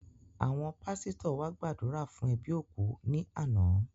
Àwọn pásítọ̀ wa gbàdúrà fún ẹbí òkú ní àná